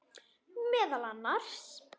Meðal annars.